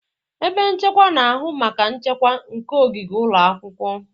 Ebe nchekwa na-ahụ maka nchekwa nke ogige ụlọ akwụkwọ.